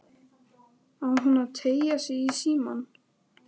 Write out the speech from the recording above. Á hún að teygja sig í símann?